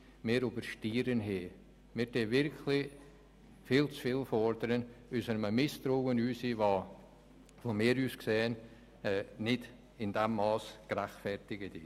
Aus einem Misstrauen heraus fordern wir wirklich viel zu viel, was meines Erachtens in diesem Mass nicht gerechtfertigt ist.